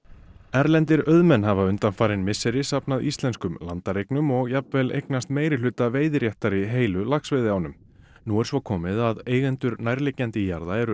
erlendir auðmenn hafa undanfarin misseri safnað íslenskum landareignum og jafnvel eignast meirihluta veiðiréttar í heilu laxveiðiánum nú er svo komið að eigendur nærliggjandi jarða eru